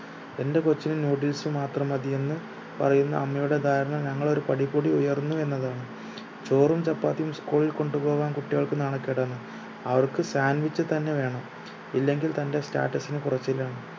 എന്റെ കൊച്ചിന് noodles മാത്രം മതിയെന്ന് പറയുന്ന അമ്മയുടെ ധാരണ ഞങ്ങൾ ഒരു പടി കൂടി ഉയർന്നു എന്നതാണ് ചോറും ചപ്പാത്തിയും school ഇൽ കൊണ്ട് പോകാൻ കുട്ടികൾക്ക് നാണക്കേടാണ് അവർക്ക് sandwich തന്നെ വേണം ഇല്ലെങ്കിൽ തന്റെ status ന് കുറച്ചിലാണ്